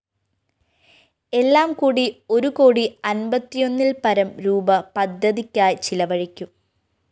എല്ലാംകൂടി ഒരു കോടി അന്‍പത്തിയൊന്നില്‍പരം രൂപീ പദ്ധതിക്കായി ചിലവഴിക്കും